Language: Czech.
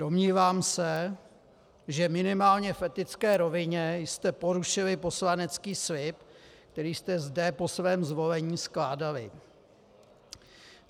Domnívám se, že minimálně v etické rovině jste porušili poslanecký slib, který jste zde po svém zvolení skládali.